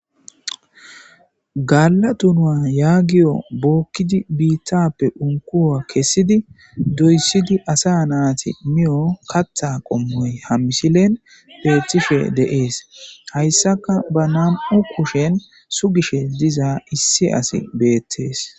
Gaalla donuwa yaagiyo bookkidi biittappe unkkuwa kessidi doyssidi asa naati miyo katha qommoy ha misilen beettishe de7ees hayssaka ba nam7u kushen sugishe diza issi asi beettees.